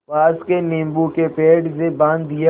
पास के नीबू के पेड़ से बाँध दिया